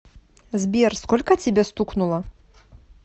сбер сколько тебе стукнуло